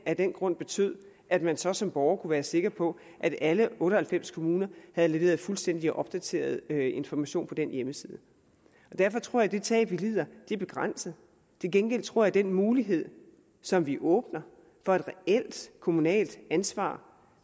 af den grund betød at man så som borger kunne være sikker på at alle otte og halvfems kommuner havde leveret fuldstændig opdaterede informationer på den hjemmeside og derfor tror jeg at det tab vi lider er begrænset til gengæld tror jeg at den mulighed som vi åbner for et reelt kommunalt ansvar